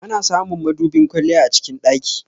Ana samun madubin kwalliya a cikin ɗaki.